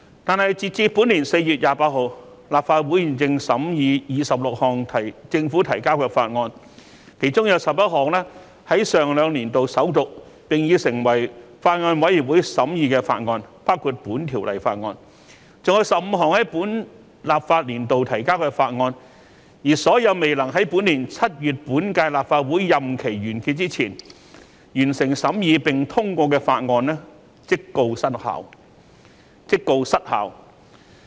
但是，截至本年4月28日，立法會現正審議26項政府提交的法案，其中11項在上兩年度首讀，並已成立法案委員會審議法案，包括《條例草案》，另外還有15項在本立法年度提交的法案，而所有未能在本年7月本屆立法會任期完結前完成審議並通過的法案，即告失效。